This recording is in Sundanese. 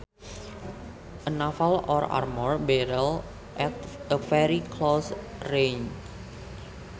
A naval or armor battle at a very close range